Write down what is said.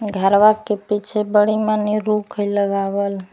घरवा के पिछे बड़ी माने रूख हइ लगावल--